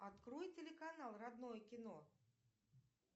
открой телеканал родное кино